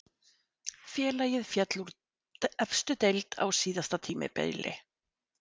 Félagið féll úr efstu deild á síðasta tímabili.